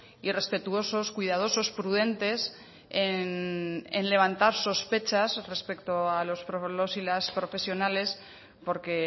y respetuosos cuidadosos prudentes en levantar sospechas respecto a los y las profesionales porque